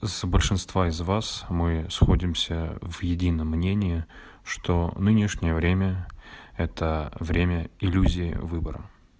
с большинства из вас мы сходимся в едином мнении что нынешнее время это время иллюзии выбора